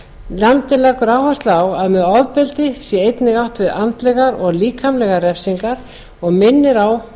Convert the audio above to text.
nefndin leggur áherslu á að með ofbeldi sé einnig átt við andlegar og líkamlegar refsingar og minnir á að